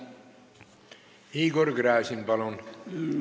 Igor Gräzin, palun!